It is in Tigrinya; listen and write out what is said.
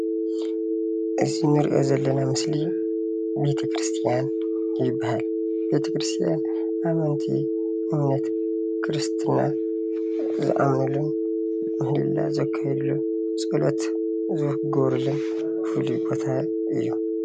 እዚ እንሪኦ ዘለና ምስሊ ቤቴክርስትያን ይበሃል። ቤቴክርስትያን ኣመንቲ እምነት ክርስትና ዝኣምንሉን ምህልላ ዘካይድሉን እዩ።